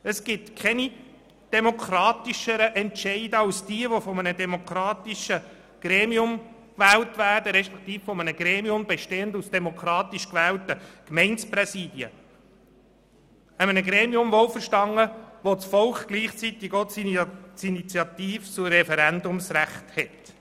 Es gibt keine demokratischeren Entscheide als diejenigen, die von einem demokratischen Gremium gefällt werden, oder von einem Gremium, das aus demokratisch gewählten Gemeindepräsidien besteht, bei dem das Volk gleichzeitig auch das Initiativ- und Referendumsrecht hat.